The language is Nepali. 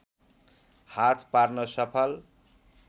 हात पार्न सफल